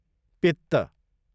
पित्त